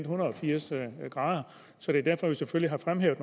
hundrede og firs grader så det er derfor vi selvfølgelig har fremhævet